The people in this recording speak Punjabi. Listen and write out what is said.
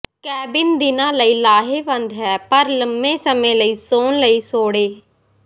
ਕੈਬਿਨ ਦਿਨਾਂ ਲਈ ਲਾਹੇਵੰਦ ਹੈ ਪਰ ਲੰਬੇ ਸਮੇਂ ਲਈ ਸੌਣ ਲਈ ਸੌੜੇ